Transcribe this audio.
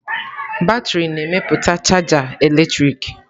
Batrị na-emepụta chaja eletrik.